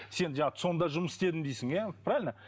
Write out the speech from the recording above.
сен жаңағы цон да жұмыс істедім дейсің иә правильно